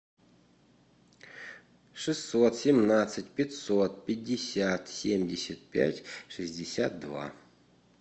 шестьсот семнадцать пятьсот пятьдесят семьдесят пять шестьдесят два